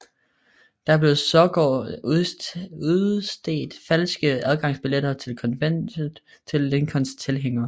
Der blev sågar udstedt falske adgangsbilletter til konventet til Lincolns tilhængere